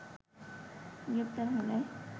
গ্রেপ্তার হলে